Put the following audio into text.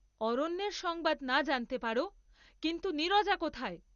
অরণ্যের সংবাদ না জান্‌তে পার, কিন্তু নীরজা কোথায়?